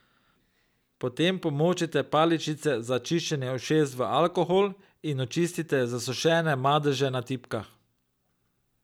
Potem pomočite paličice za čiščenje ušes v alkohol in očistite zasušene madeže na tipkah.